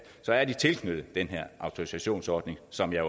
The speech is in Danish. så er tilknyttet den her autorisationsordning som jeg